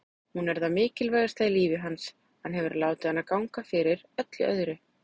Hún er það mikilvægasta í lífi hans, hann hefur látið hana ganga fyrir öllu öðru.